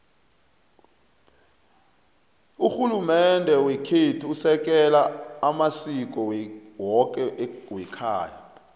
rhulumende wekhethu usekela amasiko woke wekhayapha